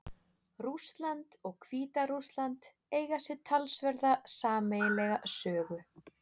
Rússland og Hvíta-Rússland eiga sér talsverða sameiginlega sögu.